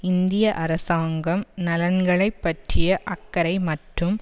இந்திய அரசாங்கம் நலன்களை பற்றிய அக்கறை மற்றும்